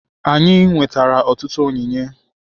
Anyị nwetara ọtụtụ onyinye